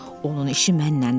Onun işi mənlədir.